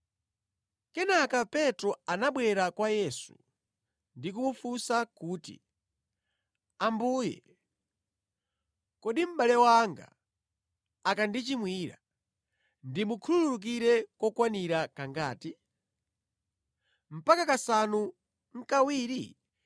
Kenaka Petro anabwera kwa Yesu ndi kumufunsa kuti, “Ambuye, kodi mʼbale wanga akandichimwira ndimukhululukire kokwanira kangati? Mpaka kasanu nʼkawiri?”